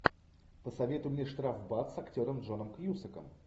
посоветуй мне штрафбат с актером джоном кьюсаком